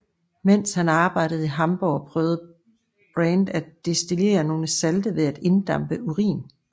Mens han arbejdede i Hamborg prøvede Brand at destillere nogle salte ved at inddampe urin